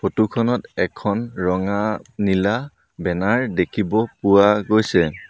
Photo খনত এখন ৰঙা নীলা বেনাৰ দেখিব পোৱা গৈছে।